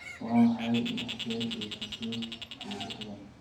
Waa maxay lix jeer iyo siddeed iyo lixdan?